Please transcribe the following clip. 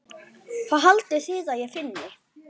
Hvað haldið þið ég finni?